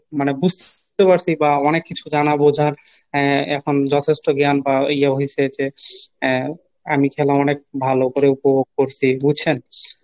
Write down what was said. মানে বুঝতে পারছি বা অনেক কিছু জানা বোঝার আহ এখন যথেষ্ট জ্ঞান বা ইয়ে হইছে যে আহ আমি খেলাম অনেক ভালো করে উপভোগ করসি বুঝছেন?